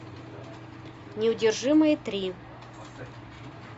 неудержимые три